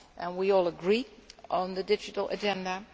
we all agree on the Digital Agenda